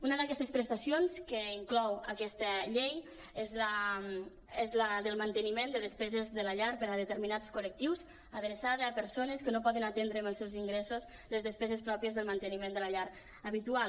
una d’aquestes prestacions que inclou aquesta llei és la del manteniment de des·peses de la llar per a determinats col·lectius adreçada a persones que no poden aten·dre amb els seus ingressos les despeses pròpies del manteniment de la llar habitual